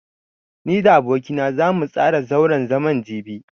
Ni da aboki na zamu tsara zauren zaman jibi.